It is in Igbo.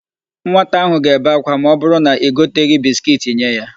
Nwata áhụ̀ ga-ebe ákwá ma ọbụrụ na i goteghi bisikiiti nye ya.